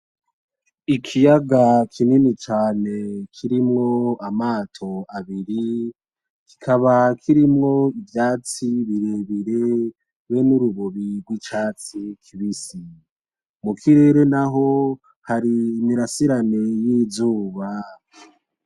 Ikiyaga kinini cane kirimwo amato abiri, kikaba kirimwo ivyatsi birebire, be n'urubobi rw'icatsi kibisi; mukirere naho hari imirasirane y'izuba.